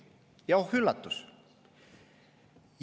Ja oh üllatust!